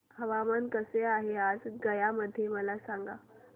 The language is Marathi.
हवामान कसे आहे आज गया मध्ये मला सांगा